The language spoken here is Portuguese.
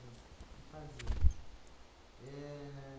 Isso, no Pazini. Ahn